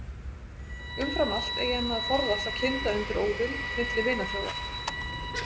Umfram allt eigi hann að forðast að kynda undir óvild milli vinaþjóða.